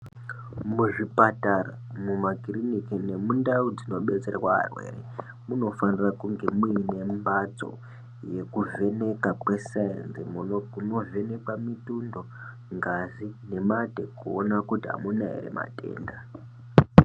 Muzvipatara, mumakiriniki nemundau dzinobetserwa arwere munofanira kunge muine mbadzo yekuvhenekwa kwesainzi. Kunovhenekwa mutundo, ngazi nemate kuona kuti hamuna here matenda.